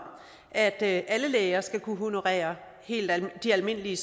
at alle læger skal kunne honorere de almindelige